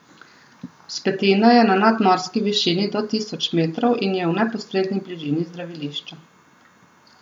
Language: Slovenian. Vzpetina je na nadmorski višini do tisoč metrov in je v neposredni bližini zdravilišča.